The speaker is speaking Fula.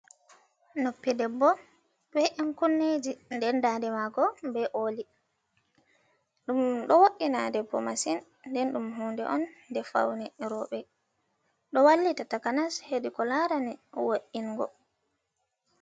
Noppi ɗeɓɓo ɓe ɗan kunneji ɗen ɗaɗe mako ɓe oli ,ɗum ɗo wo"ina ɗeɓɓo masin ɗen ɗum hunɗe on je faune roɓe, ɗo wallita takanas heɗi ko larani wo’ingo.